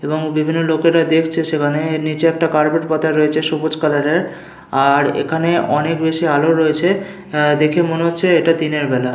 এবং বিভিন্ন লোকেরা দেখছে সেখানে। এর নিচে একটা কার্পেট পাতা রয়েছে সবুজ কালারের আর এখানে অনেক বেশি আলো রয়েছে অ্যা দেখে মনে হচ্ছে এইটা দিনের বেলা।